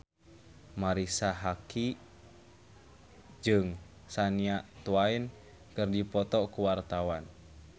Marisa Haque jeung Shania Twain keur dipoto ku wartawan